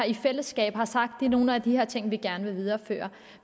i fællesskab har sagt at det er nogle af de her ting vi gerne vil videreføre